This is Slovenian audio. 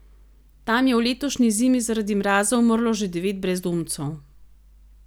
Tam je v letošnji zimi zaradi mraza umrlo že devet brezdomcev.